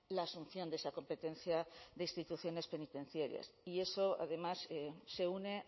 la asunción de esa competencia de instituciones penitenciarias y eso además se une